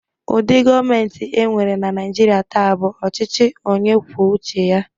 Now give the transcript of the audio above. Ụdị gọọmentị e nwere na Naịjirịa taa bụ ọchịchị onye kwuo uche ya.